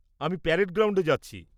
আমি প্যারেড গ্রাউন্ডে যাচ্ছি।